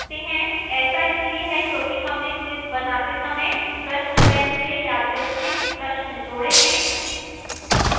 ऐसा इसलिए है क्योंकि हमने quiz बनाते समय प्रश्न bank से यादृच्छिक प्रश्न जोड़े हैं